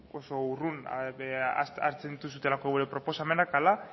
oso urrun hartzen dituzuelako gure proposamena ala